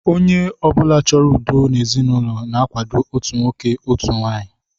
Onye ọ bụla chọrọ udo n'ezinụlọ na-akwado otu nwoke, otu nwaanyị